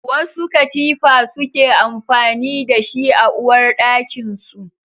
Wasu katifa suke amfani da shi a uwarɗakin su